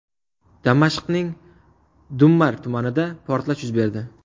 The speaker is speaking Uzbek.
Damashqning Dummar tumanida portlash yuz berdi.